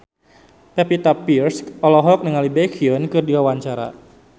Pevita Pearce olohok ningali Baekhyun keur diwawancara